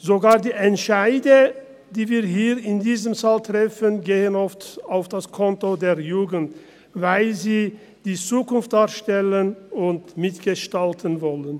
Sogar die Entscheide, die wir hier in diesem Saal treffen, gehen oft auf das Konto der Jugend, weil sie die Zukunft darstellen und mitgestalten wollen.